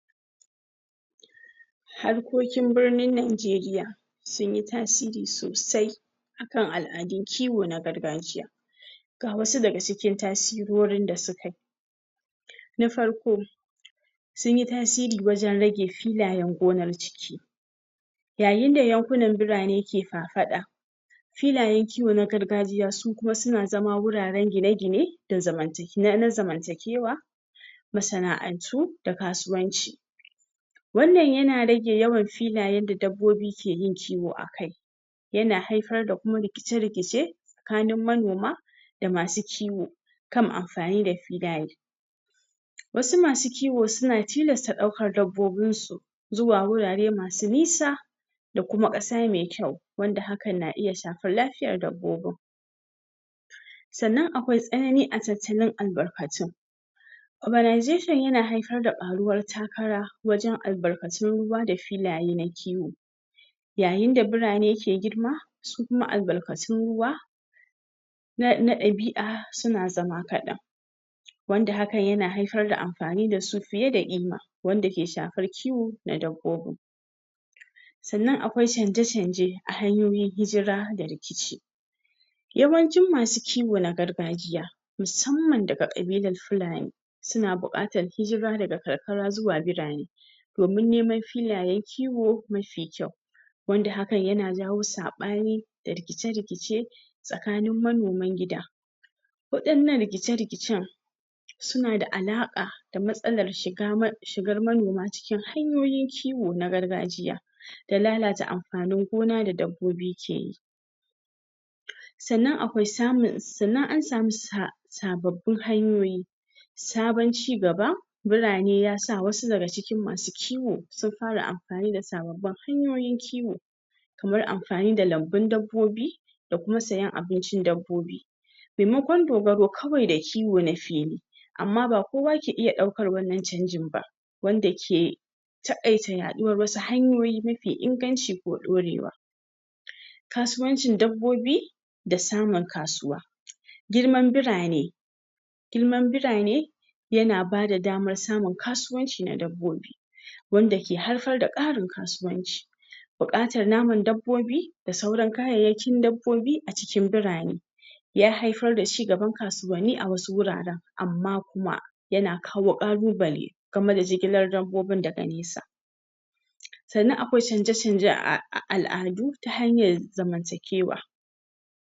harkokin birnin Najeriya sun yi tasiri sosai a kan al'adun kiwo na gargajiya ga wasu daga cikin tasirorin da suka yi na farko sun yi tasiri wajen rage filayen gonar ciki yayin da yankunan birane ke faɗaɗa filayen kiwo na gargajiya su kuma suna zama wuraren gine gine da zaman take na zamantakewa masana'antu da kasuwanci wannan ya na rage yawan filayen da dabbobi ke yin kiwo a kai ya na haifar da kuma rikice rikice tsakanin manoma da masu kiwo kan amfani da filaye wasu ma su kiwo su na tilasta ɗaukar dabbobinsu zuwa wurare masu nisa da kuma ƙasa mai kyau wanda hakan na iya shafar lafiyar dabbobin sannan akwai tsanani a tattalin albarkatun organisation ya na haifar da ƙaruwar takara wajen albarkatun ruwa da filaye na kiwo yayin da birane ke girma su kuma albarkatun ruwa na na ɗabi'a su na zama kaɗan wanda hakan ya na haifar da amfani da su fiye da ƙima wanda ke shafar kiwo na dabbobin sannan akwai canje canje a hanyoyin hijira da rikici yawancin ma su kiwo na gargajiya musamman daga ƙabilar fulani su na buƙatar hijira daga karkara zuwa birane domin neman filayen kiwo mafi kyau wanda hakan ya na jawo saɓani da rikice rikice tsakanin manoman gida waɗannan rikice rikicen su na da alaƙa da matsalar shiga ma shigar manoma cikin hanyoyin kiwo na gargajiya da lalata amfanin gona da dabbobi ke yi sannan akwai samun sannan an samu sa sababbin hanyoyi sabon cigaba birane ya sa wasu daga cikin masu kiwo sun fara amfani da sababbin hanyoyin kiwo kamar amfani da lambun dabbobi da kuma sayan abincin dabbobi maimakon dogaro kawai da kiwo na fili amma ba kowa ke iya ɗaukar wannan canjin ba wanda ke taƙaita yaɗuwar wasu hanyoyi mafi inganci ko ɗorewa kasuwancin dabbobi da samun kasuwa girman birane girman birane ya na bada damar samun kasuwanci na dabbobi wanda ke haifar da ƙarin kasuwanci buƙatar naman dabbobi da sauran kayyayakin dabbobi a cikin birane ya haifar da cigaban kasuwanni a wasu wuraren amma kuma ya na kawo ƙalubale game da jigilar dabbobin daga nesa sannan akwai canje canje a al'adu ta hanyar zamantakewa